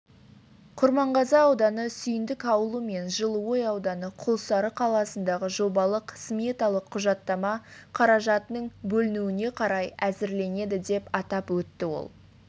құрманғазы ауданы сүйіндік ауылы мен жылыой ауданы құлсары қаласындағы жобалық-сметалық құжаттама қаражаттың бөлінуіне қарай әзірленеді деп атап өтті ол